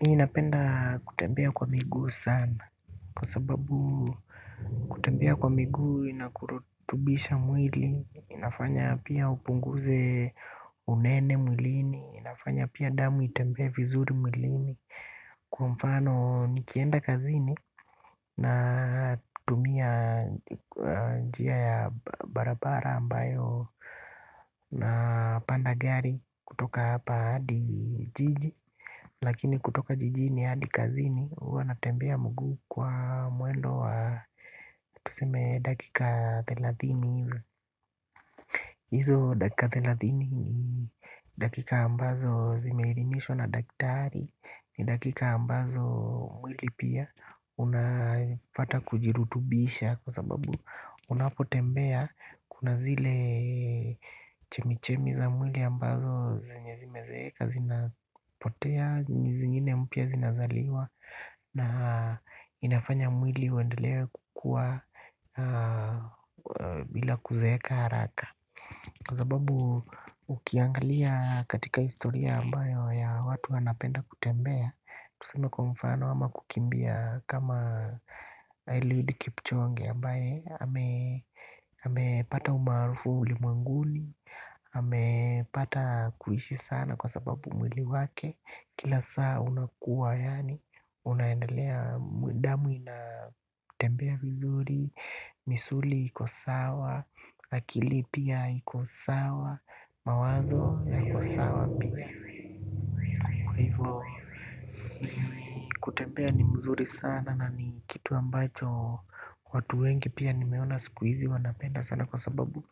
Mih napenda kutembea kwa miguu sana kwa sababu kutembea kwa miguu inakurutubisha mwili. Inafanya pia upunguze unene mwilini. Inafanya pia damu itembee vizuri mwilini. Kwa mfano nikienda kazini na tumia jia ya barabara ambayo na panda gari kutoka hapa hadi jiji. Lakini kutoka jijini hadi kazini huwa natembea mguu kwa mwendo wa tuseme dakika thelathini hivi hizo dakika telathini ni dakika ambazo zimeirinishwa na daktari. Ni dakika ambazo mwili pia unapata kujirutubisha. Kwa sababu unapotembea kuna zile chemichemi za mwili ambazo zenye zimezeeka. Zinapotea nizingine mpya zinazaliwa. Na inafanya mwili uendelee kukua bila kuzeeka haraka. Kwa sababu ukiangalia katika historia ambayo ya watu wanapenda kutembea tusume kwa mfano ama kukimbia kama eliud kipchoge ambaye amepata umaarufu ulimwenguni ame pata kuishi sana kwa sababu mwili wake kila saa unakuwa yaani unaendelea damu inatembea vizuri. Misuli ikosawa. Akili pia ikosawa. Mawazo yakosawa pia. Kwa hivo kutembea ni mzuri sana. Na ni kitu ambacho watu wengi pia ni meona sikuhizi wanapenda sana kwa sababu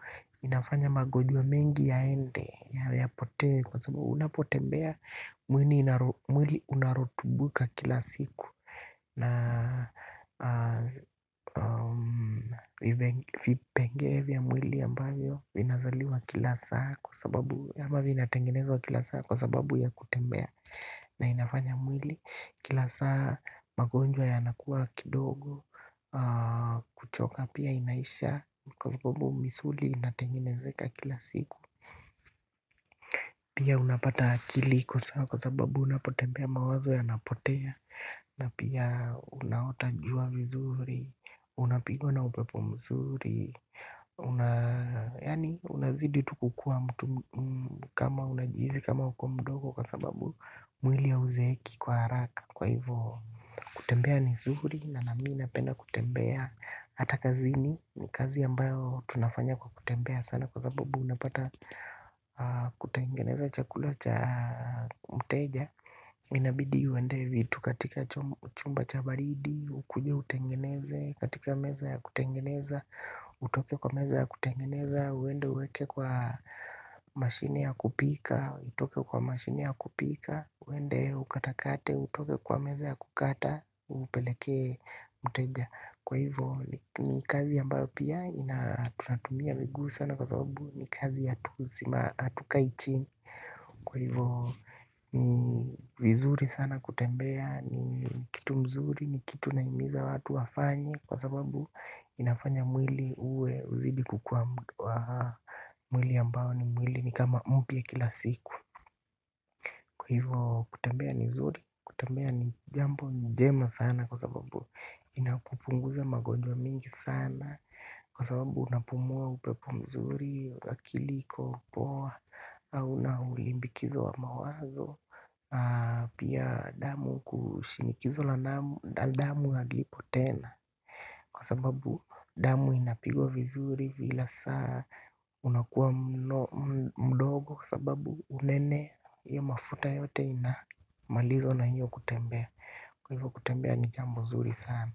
inafanya magonjwa mengi yaende yapotee. Kwa sababu unapotembea mwili unaratubuka kila siku. Na vipengee vya mwili ambayo vinazaliwa kila saa. Kwa sababu ya ama vinatengenezwa kila saa kwa sababu ya kutembea. Na inafanya mwili kila saa magonjwa ya nakua kidogo. Kuchoka pia inaisha kwa sababu misuli inatengenezeka kila siku. Pia unapata akili iko sawa kwa sababu unapotembea mawazo ya napotea. Na pia unaota jua vizuri. Unapigwa na upepo mzuri. Una yaani unazidi tu kukua mtu. Kama unajihizi kama ukumdogo kwa sababu mwili ya hauzeeki kwa haraka kwa hivo. Kutembea ni zuri na namii napenda kutembea. Hata kazini ni kazi ambayo tunafanya kwa kutembea sana. Kwa sababu unapata kutengeneza chakula cha mteja. Inabidi uendee vitu katika chumba chabaridi. Ukuje utengeneze katika meza ya kutengeneza. Utoke kwa meza ya kutengeneza. Uende uweke kwa mashini ya kupika. Utoke kwa mashini ya kupika. Uende ukatakate. Utoke kwa meza ya kukata. Upeleke mteja. Kwa hivyo ni kazi ambayo pia ina tunatumia miguu sana kwa sababu ni kazi ya tu sima hatukai chini. Kwa hivo ni vizuri sana kutembea. Ni kitu mzuri ni kitu nahimiza watu wafanye. Kwa sababu inafanya mwili uwe uzidi kukua mwili ambao ni mwili ni kama mpya kila siku. Kwa hivo kutembea ni nzuri kutembea ni jambo njema sana kwa sababu inakupunguza magonjwa mingi sana. Kwa sababu unapumua upepo mzuri, akil iko poa, hauna ulimbikizo wa mawazo. Pia damu kushinikizo la damu ya halipo tena. Kwa sababu damu inapigwa vizuri vila saa unakuwa mdogo. Kwa sababu unene ya mafuta yote ina malizwa na hiyo kutembea. Kwa hivyo kutembea ni jambo nzuri sana.